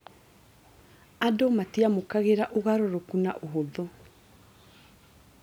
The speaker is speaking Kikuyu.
Andũ matiamũkagĩra ũgarũrũkũ na ũhũthũ